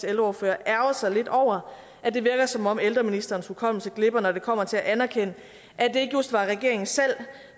ældreordfører ærgre sig lidt over at det virker som om ældreministerens hukommelse glipper når det kommer til at anerkende at det ikke just var regeringen selv